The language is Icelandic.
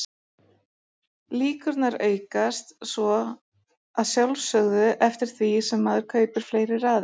Líkurnar aukast svo að sjálfsögðu eftir því sem maður kaupir fleiri raðir.